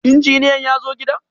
Injiniyan yazo gidan?